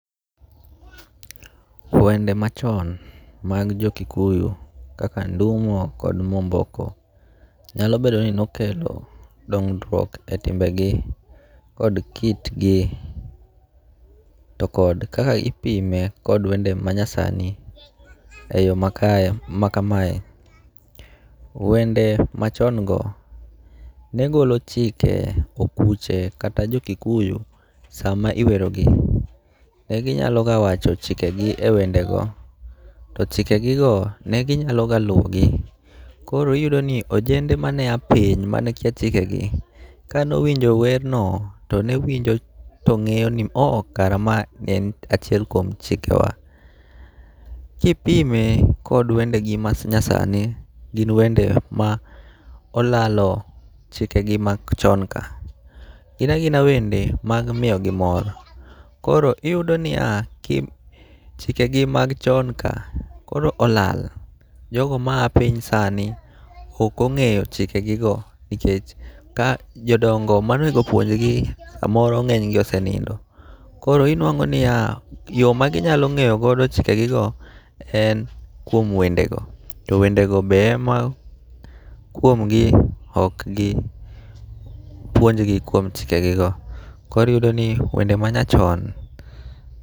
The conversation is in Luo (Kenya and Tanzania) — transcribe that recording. Wende machon mag jo Kikuyu kaka Ndumo kod Mwomboko nyalo bedo ni nokelo dongruok e timbegi kod kitgi to kod kaka ipime kod wende ma nyasani e yo ma kamae. Wende machon go ne golo chike okuche kata jo Kikuyu sama iwerogi. Ne gi nyalo ga wacho chikegi e wendego to chikegi go ne ginyalo ga luwo gi. Koro iyudo ni ojende mane a piny mane kia chike gi, kanowinjo wer no to ne winjo to ng'eyo ni o kare ma en achiel kuom chike wa. Kipime kod wende gi ma nyasani, gin wende ma olalo chike gi machon ka. Gin agina wende mag miyogi mor, koro iyudo niya, chikegi mag chon ka koro olal. Jogo ma a piny sani okong'eyo chike gi go, nikech ka jodongo monego opuonjgi samoro ng'enygi osenindo. Koro inwang'o niya, yo ma ginyalo ng'eyo go chike gi go en kuom wende go. To wende go be ema kuom gi okgi puonjgi kuom chike gi go. Koriyudo ni wende ma nyachon.